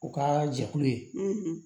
U ka jɛkulu ye